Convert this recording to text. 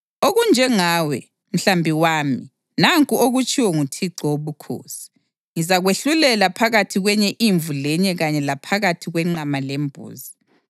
Okunjengawe, mhlambi wami, nanku okutshiwo nguThixo Wobukhosi: Ngizakwahlulela phakathi kwenye imvu lenye kanye laphakathi kwenqama lembuzi.